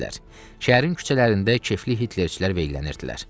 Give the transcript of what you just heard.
Şəhərin küçələrində kefli Hitlerçilər veyllənirdilər.